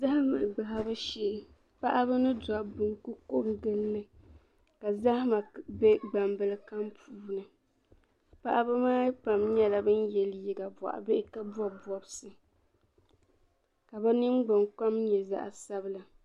Zahima gbahibu shee. paɣib ni. dɔbba n-ku koŋ gilli ni. ka zahima gbambil puuni paɣimaa pam nyala ban ye liiga bɔɣi bihi kabɔn bɔbs kabi nin gbinkom nyɛ zaɣi sabila.